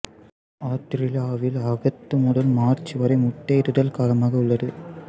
ஆத்திரேலியாவில் ஆகத்து முதல் மார்ச் வரை முட்டையிடுதல் காலமாக உள்ளது